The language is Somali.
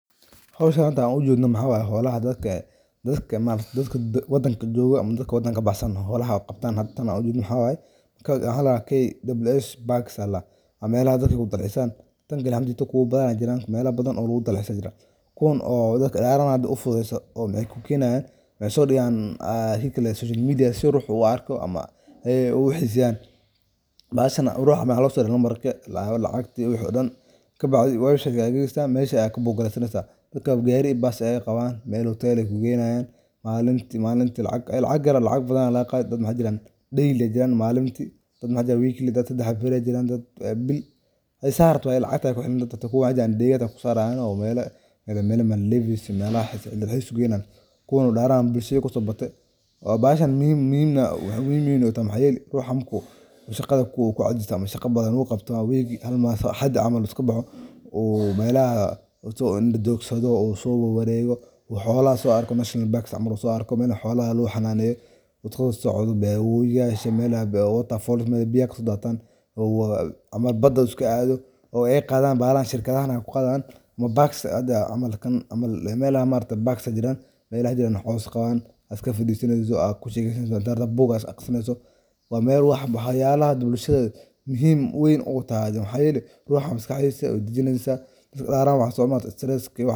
Hawshan aan hada u jedno maxa waye, xolaha dadka, dadka maamulka, dadka waddanka jooga ama dadka waddanka baahsan. Hawlaha qabtaan haddii tan u jirin Hawaii ka hadla Kay Debliis Baksa la. Ama maela dad ku dalceysa. Tan galiya hamjita kuu badan jiraan meelo badan oo loo dalceysa jira. Kuwoon oo dadka dharanaadii u fududeyso oo mihay ku kiinaan, casoo dhiyaan ah hayklane social media si ruuxu u arko ama hey u xiisan baarisan ruux ah. Ma xallu sori la maro lahab la caqti u xidhan. Ka baxday waashigaa gogolada meesha kaboo galaysta nataa. Dhabka geeriga baas ah ee qabaan meeloo teli ku geeyayaan. Maalinti, maalinti lacag, lacag, yaraac badan la qaaday dad noocan jiran day iyo jiran maalinti. Dadnoocada wiikilida ta habboonay jiraan dad bil ay saarto ay lacag tahay ku xiran dadku wajahan deegaadana ku saaranayo meelo. Meele milleh levi's meelahay in dad aysan geynaan. Kuwoon u dhacaan bishii koo xubno ta. Baarisan miyum miyum miyum miyum u tam hay'ad ruux hamku wuxuu qada ku ko codsada ma aysan qabadan u qabto weygi hal maah Xadii amalku ka baxo. Ummayla wuxuu indhoo xagoo soo waraygo xoolaha so arkay National Parks amaru soo arkay meelo xoolaha looxa naaney. Wuxuu socdo bay Uiga shameelay bay u tafoleys maybiyaku daatan ama badan uska caday oo ay qadaan baadan shirkadahana ku qadaan. Parksi amarkan amal meela maanta Parksi jiraan meela jiraan xoos qabaan adka fududinaisu ah ku shakibsanaanta boggaas akhnta. Waa meer ruux xubnaha yaalla dib lakiisa muhiim weyn uu taasi hay'ad ruux iska xisaayo dijiinaysa dadka dhaaran waan somo saacadii kiba.